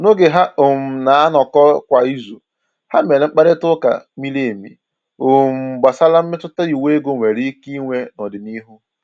N’oge ha um na-anọkọ kwa izu, ha mèrè mkparịta ụka miri emi um gbasàra mmetụta iwu ego nwere ike inwe n’ọdịnihu.